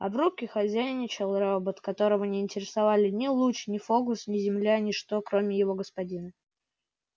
а в рубке хозяйничал робот которого не интересовали ни луч ни фокус ни земля ничто кроме его господина